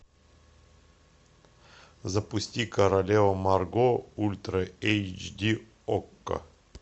запусти королева марго ультра эйч ди окко